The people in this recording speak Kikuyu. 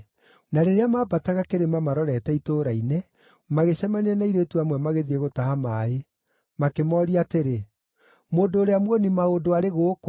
Na rĩrĩa maambataga kĩrĩma marorete itũũra-inĩ, magĩcemania na airĩtu amwe magĩthiĩ gũtaha maaĩ, makĩmooria atĩrĩ, “Mũndũ ũrĩa muoni-maũndũ arĩ gũkũ?”